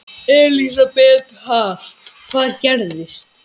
Elísabet Hall: Hvað gerðist?